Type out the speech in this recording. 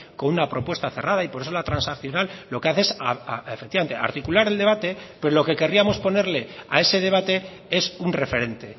con una propuesta cerrada y por eso la transaccional lo que hace es efectivamente articular el debate pero lo que querríamos ponerle a ese debate es un referente